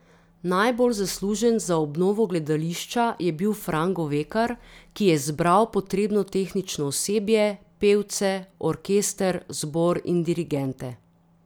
Najbolj zaslužen za obnovo gledališča je bil Fran Govekar, ki je zbral potrebno tehnično osebje, pevce, orkester, zbor in dirigente.